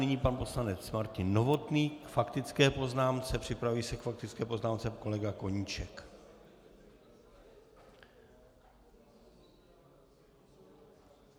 Nyní pan poslanec Martin Novotný k faktické poznámce, připraví se k faktické poznámce kolega Koníček.